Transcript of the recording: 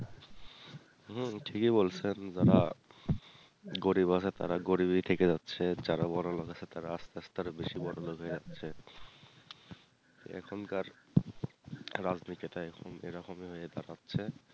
হম ঠিকই বলছেন যারা গরিব আছে তারা গরিব ই থেকে যাচ্ছে যারা বড়লোক আছে তারা আস্তে আস্তে আরও বেশি বড়লোক হয়ে যাচ্ছে এখনকার রাজনীতি টা এরকম এরকম ই হয়ে দাঁড়াচ্ছে